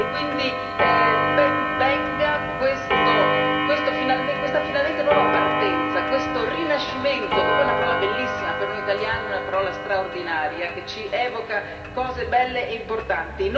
Quindi ben venga questa finalmente nuova partenza, questo rinascimento, che poi è una parola bellissima per noi italiani, una parola straordinaria, che ci evoca cose belle e importanti.